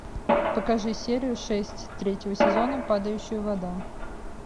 покажи серию шесть третьего сезона падающая вода